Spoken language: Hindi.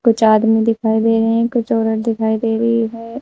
कुछ आदमी दिखाई दे रहे है कुछ औरत दिखाई दे रही है।